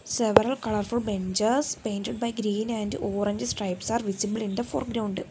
several colourful benches painted by green and orange stripes are visible in the foreground.